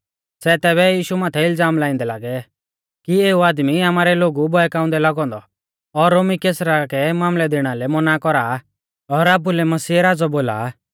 सै तेभी यीशु माथै इलज़ाम लाइंदै लागै कि एऊ आदमी आमारै लोगु बहकाउंदै लागौ औन्दौ और रोमी कैसरा कै मामलै दैणा लै मौना कौरा और आपुलै मसीहा राज़ौ बोला